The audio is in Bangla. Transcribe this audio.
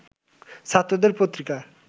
ছাত্রদের পত্রিকা